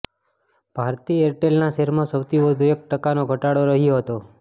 ભારતી એરટેલના શેરમાં સૌથી વધુ એક ટકાનો ઘટાડો રહ્યો હતો